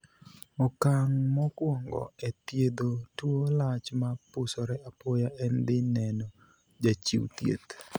Okang' mokuongo e thiedho tuo lach ma pusore apoya en dhi neno jachiw thieth.